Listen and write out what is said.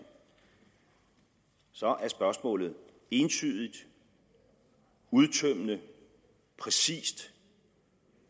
så er spørgsmålet entydigt udtømmende præcist